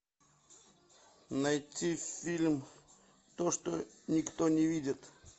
найти фильм то что никто не видит